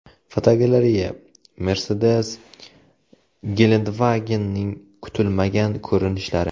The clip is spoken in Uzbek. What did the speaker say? Fotogalereya: Mercedes Gelandewagen’ning kutilmagan ko‘rinishlari.